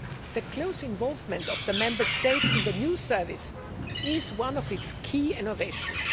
The close involvement of the Member States in the new service is one of its key innovations.